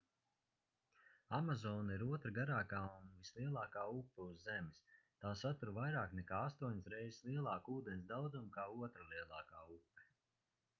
amazone ir otra garākā un vislielākā upe uz zemes tā satur vairāk nekā 8 reizes lielāku ūdens daudzumu kā otra lielākā upe